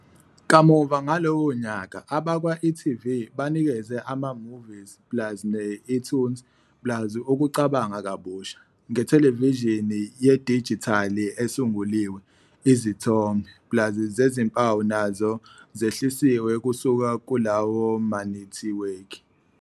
Kamuva ngalowo nyaka, abakwa-e.tv banikeze ama-eMovies plus ne-eToonz plus ukucabanga kabusha, ngethelevishini yedijithali esunguliwe, izithombe "plus" zezimpawu nazo zehlisiwe kusuka kulawo manethiwekhi.